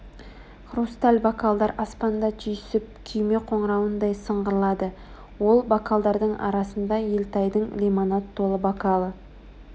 хрусталь бокалдар аспанда түйісіп күйме қоңырауындай сыңғырлады ол бокалдардың арасында елтайдың лимонад толы бокалы